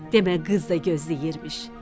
Demə qız da gözləyirmiş.